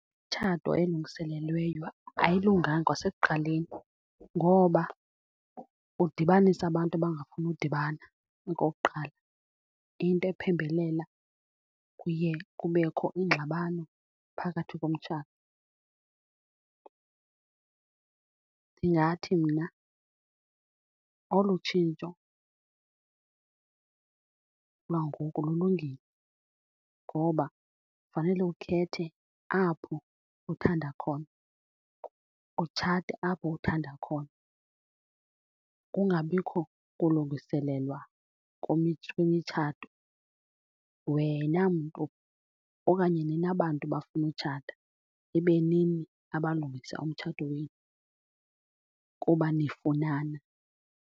Umtshato elungiselelweyo ayilunganga kwasekuqaleni ngoba udibanisa abantu abangafuni udibana okokuqala, into iphembelela kuye kubekho iingxabano phakathi komtshato. Ndingathi mna olu tshintsho lwangoku lulungile ngoba fanele ukhethe apho uthanda khona, utshate apho uthanda khona, kungabikho kulungiselelwa kwimitshato. Wena mntu okanye nina bantu bafuna utshata ibe nini abalungisa umtshato wenu kuba nifunana.